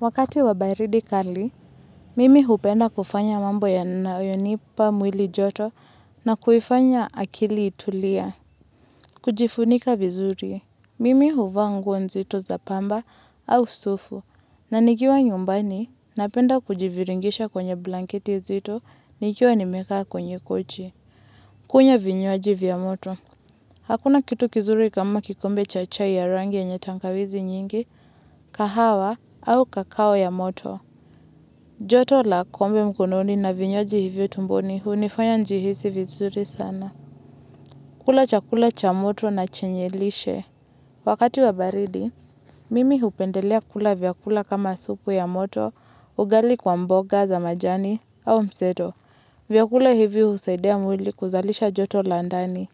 Wakati wa baridi kali, mimi hupenda kufanya mambo yanayonipa mwili joto na kuifanya akili itulie. Kujifunika vizuri, mimi huvaa nguo nzito za pamba au sufu, na nikiwa nyumbani napenda kujiviringisha kwenye blanketi zito, nikiwa nimekaa kwenye kochi. Kunywa vinywaji vya moto, hakuna kitu kizuri kama kikombe cha chai ya rangi yenye tangawizi nyingi, kahawa au kakao ya moto. Joto la kombe mkononi na vinywaji hivyo tumboni hunifanya njihisi vizuri sana. Kula chakula cha moto na chenye lishe. Wakati wa baridi, mimi hupendelea kula vyakula kama supu ya moto, ugali kwa mboga za majani au mseto. Vyakula hivyo husaidia mwili kuzalisha joto la ndani.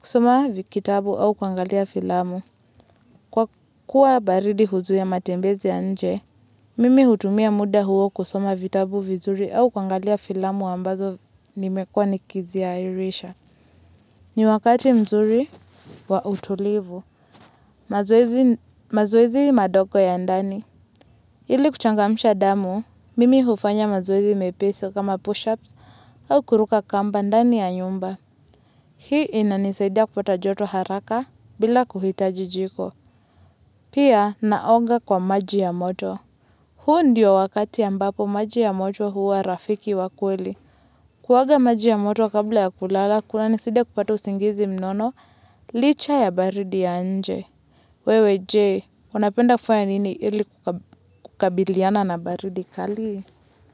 Kusoma kitabu au kuangalia filamu. Kwa kuwa baridi huzuia matembezi ya nje, mimi hutumia muda huo kusoma vitabu vizuri au kuangalia filamu ambazo nimekua nikiziairisha. Ni wakati mzuri wa utulivu. Mazoezi madogo ya ndani. Ili kuchangamsha damu, mimi hufanya mazoezi mepesi kama push-ups au kuruka kamba ndani ya nyumba. Hii inanisaidia kupata joto haraka bila kuhitaji jiko. Pia naoga kwa maji ya moto. Huu ndio wakati ambapo maji ya moto huwa rafiki wa kweli. Kuoga maji ya moto kabla ya kulala, kunanisaidia kupata usingizi mnono licha ya baridi ya nje. Wewe je, unapenda kufunya nini ili kukabiliana na baridi kali?